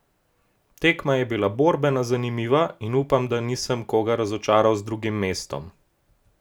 Tekma je bila borbena, zanimiva in upam, da nisem koga razočaral z drugim mestom.